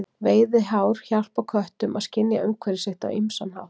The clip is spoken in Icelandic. Veiðihár hjálpa köttum að skynja umhverfi sitt á ýmsan hátt.